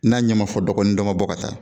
N'a ɲɛ ma fɔ dɔgɔ ni dɔ ma bɔ ka taa